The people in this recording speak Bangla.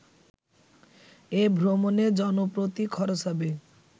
এ ভ্রমণে জনপ্রতি খরচ হবে